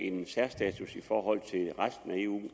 en særstatus i forhold til resten af eu